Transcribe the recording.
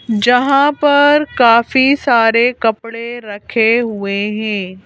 जहाँ पर काफी सारे कपड़े रखे हुए हैं।